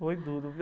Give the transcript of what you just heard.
Foi duro, viu?